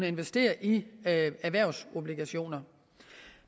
investere i erhvervsobligationer